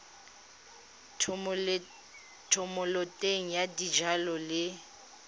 ya thomeloteng ya dijalo le